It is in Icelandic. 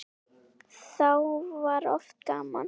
Þá var oft gaman.